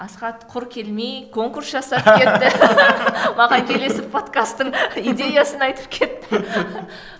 асхат құр келмей конкурс жасап кетті маған келесі подкастың идеясын айтып кетті